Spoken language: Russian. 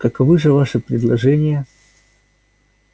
каковы же ваши предложения